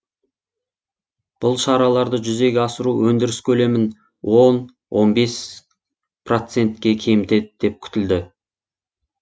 бұл шараларды жүзеге асыру өндіріс көлемін он бес процентке кемітеді деп күтілді